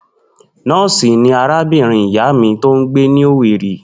Nó̩ò̩sì ni arábìnrin ìyá mi tó ń gbé ni Owerri